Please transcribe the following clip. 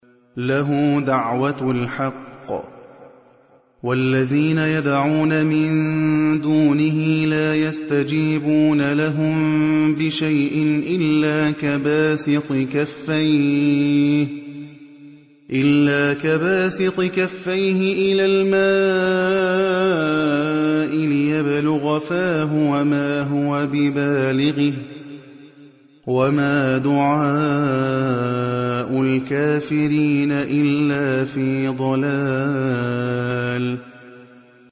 لَهُ دَعْوَةُ الْحَقِّ ۖ وَالَّذِينَ يَدْعُونَ مِن دُونِهِ لَا يَسْتَجِيبُونَ لَهُم بِشَيْءٍ إِلَّا كَبَاسِطِ كَفَّيْهِ إِلَى الْمَاءِ لِيَبْلُغَ فَاهُ وَمَا هُوَ بِبَالِغِهِ ۚ وَمَا دُعَاءُ الْكَافِرِينَ إِلَّا فِي ضَلَالٍ